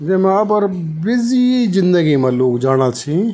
जन आप अर बिजी जिंदगी मा लोग जाना छि।